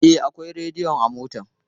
E, akwai rediyo a motar.